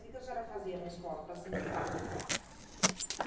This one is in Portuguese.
O que a senhora fazia na escola para se limpar?